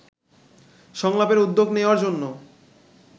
সংলাপের উদ্যোগ নেওয়ার জন্য